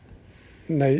nei